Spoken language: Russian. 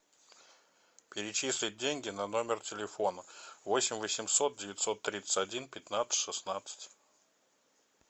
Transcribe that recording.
перечислить деньги на номер телефона восемь восемьсот девятьсот тридцать один пятнадцать шестнадцать